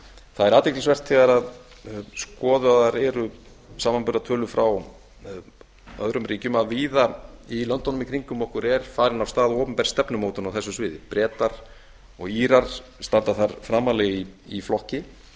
það er athyglisvert þegar skoðaðar eru samanburðartölur frá öðrum ríkjum að víða í löndunum í kringum okkur er farin af stað opinber stefnumótun á þessu sviði bretar og írar standa þar framarlega í flokki